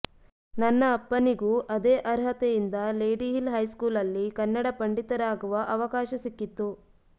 ನನ್ನ ಅಪ್ಪನಿಗೂ ಅದೇ ಅರ್ಹತೆಯಿಂದ ಲೇಡಿಹಿಲ್ ಹೈಸ್ಕೂಲಲ್ಲಿ ಕನ್ನಡ ಪಂಡಿತರಾಗುವ ಅವಕಾಶ ಸಿಕ್ಕಿತ್ತು